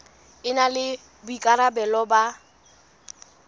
e na le boikarabelo ba